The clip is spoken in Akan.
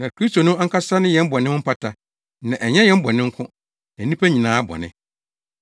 Na Kristo no ankasa ne yɛn bɔne ho mpata na ɛnyɛ yɛn bɔne nko, na nnipa nyinaa bɔne.